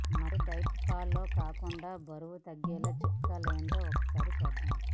మరి diet follow కాకుండా బరువు తగ్గించే చిట్కాలేంటో ఒకసారి చూద్దాం